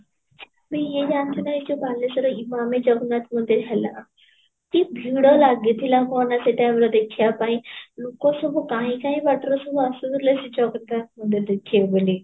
ନାହିଁ ୟେ ଯାନିଈଚ କି ନାହିଁ ବାଲେଶ୍ୱର ଜଗନ୍ନାଥ ମନ୍ଦିର ହେଲା, କି ଭିଡ଼ ଲାଗିଥିଲା ମାନେ ସେଇ time ରେ ଦେଖିବା ପାଇଁ ଲୋକ ସବୁ କାହିଁ କାହିଁ ବାଟରୁ ସବୁ ଆସୁଥିଲେ ଜନ୍ନାଥ ମନ୍ଦିର ଦେଖିବେ ବୋଲି